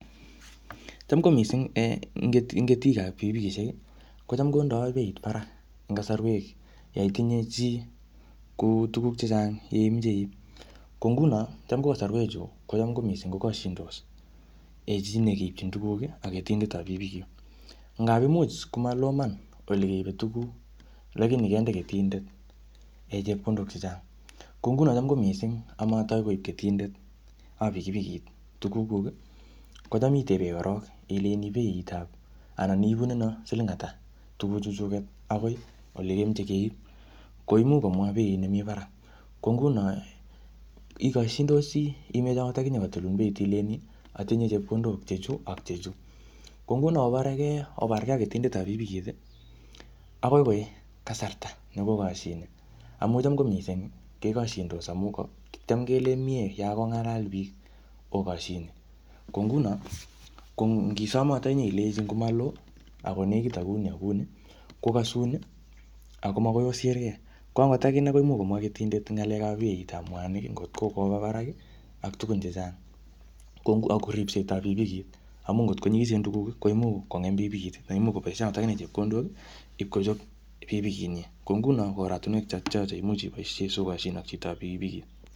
Cham ko missing en ketik-ketikab pikipikishek, kocham kondoi beit barak eng kasarwek yoitinye chii kuu tuguk chechang che imeche iip. Ko nguno, cham kosarwek chu, kocham ko missing kokashindos um chii ne keipchin tuguk ak ketindetab pikipikit. Ngap imuch komaloo iman ole keibe tuguk, lakini kende ketindet chepkondok chechang. Ko nguno cham ko missing amatai koib keindetap pipikipikit tuguk kuk, kocham itebe korok ilejini beitap anan ibunenoo siling ata, tuguk chuchuket, akoi ole kemeche keip. Ko imuch komwaa beit nemii barak. Ko nguno ikoshindosi imeche angot akinye kotilun beit ilejini atinye chepkondok che chuu, ak chechuu. Ko nguno obaregei, obaregei ak ketindetab pikipikit, akoi koi kasarta ne kokashine. Amu cham ko missing, kekoshindos amu tam kelen miee yakong'alal biik okoshine. Ko nguno, ko ngisom angot akinye ilenji ngomaloo akonekit akouni akouni, kokasun, akomakoi osirgei. Ko angot akine, koimuch komwaa ketindet ng'alekap beitap mwanik, ngotko koba barak, ak tugun chechang. Ko ngo ako ripsetab pikipikit, amu ngotko nyikisen tuguk, koimuch kongem pikipikit, anan imuch koboisie akine chepkondok ipkochop pikipikit nyii. Ko nguno ko oratunwek chotocho che imuch iboisie sokoshin ak chitop pikipikit.